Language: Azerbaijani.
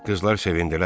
Qızlar sevindilər.